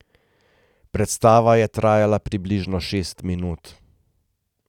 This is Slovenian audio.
Predstava je trajala približno šest minut.